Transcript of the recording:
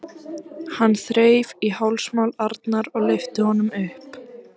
Hann þreif í hálsmál Arnar og lyfti honum upp.